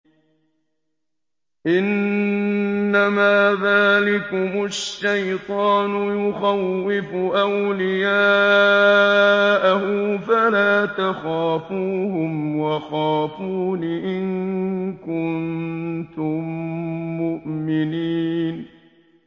إِنَّمَا ذَٰلِكُمُ الشَّيْطَانُ يُخَوِّفُ أَوْلِيَاءَهُ فَلَا تَخَافُوهُمْ وَخَافُونِ إِن كُنتُم مُّؤْمِنِينَ